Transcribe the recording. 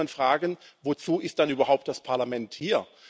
Da muss man fragen, wozu ist dann überhaupt das Parlament hier?